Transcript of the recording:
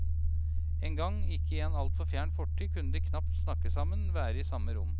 En gang, i en ikke altfor fjern fortid, kunne de knapt snakke sammen, være i samme rom.